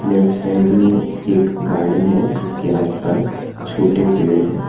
Left side में एक garden हैं जिसके आसपास छोटे पेड़ हैं।